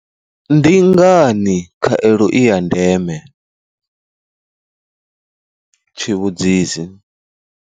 Ndi ngani khaelo i ya ndeme? tshi vhudzisi.